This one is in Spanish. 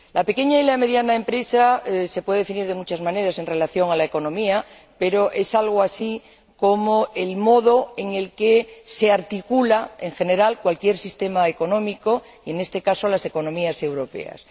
Las pequeñas y medianas empresas se pueden definir de muchas maneras en relación con la economía, pero son algo así como el modo en torno al que se articula, en general, cualquier sistema económico en este caso, las economías europeas